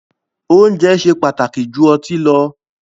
Oúnjẹ ṣe pàtàkì jù ọtí lọ